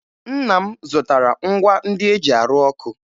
Nna m zụtara ngwa ndị e ji arụ ọkụ